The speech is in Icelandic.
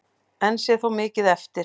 Enn sé þó mikið eftir.